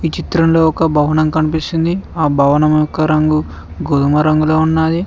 చిత్రంలో ఒక భవనం కనిపిస్తుంది ఆ భవనం యొక్క రంగు గోధుమ రంగులో ఉంది.